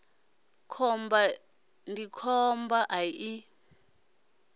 khomba iḽa khomba ya ḓi